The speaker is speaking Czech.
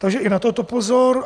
Takže i na toto pozor.